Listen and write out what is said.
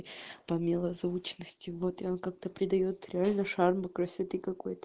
по милозвучности вот и он как-то придаёт реально шармы красоты какой-то